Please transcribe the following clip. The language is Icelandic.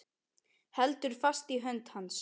Heldur fast í hönd hans.